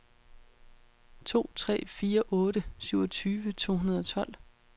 to tre fire otte syvogtyve to hundrede og tolv